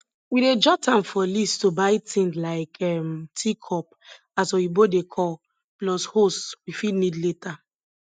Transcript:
we dey jot am for list to buy tin like um teacup as oyibo dey call plus hose we fit need later